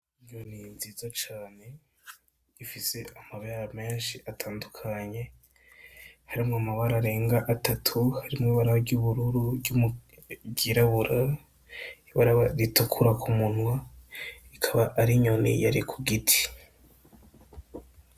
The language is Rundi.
Inyoni nziza cane ifise amabara menshi atandukanye, harimwo amabara arenga atatu, harimwo ibara ry'ubururu, ryirabura, ibara ritukura ku munwa, ikaba ari inyoni yari ku giti.